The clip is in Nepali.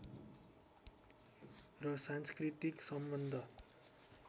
र सांस्कृतिक सम्बन्ध